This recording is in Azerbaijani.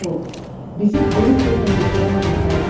Bizi böyük bir təhlükədən qurtardın.